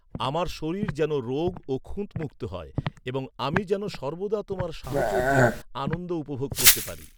আমার শরীর যেন রোগ ও খুঁত মুক্ত হয় এবং আমি যেন সর্বদা তোমার সাহচর্যের আনন্দ উপভোগ করতে পারি।